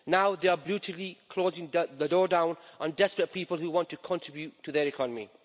Now they are brutally closing down the door down on desperate people who want to contribute to their economy.